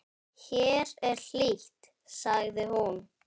Hér er hlýtt, sagði hún.